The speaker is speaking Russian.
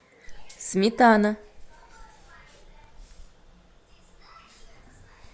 сметана